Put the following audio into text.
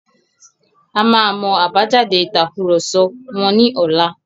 A máa mọ àbájáde ìtàkurọ̀sọ wọn ní ọlá.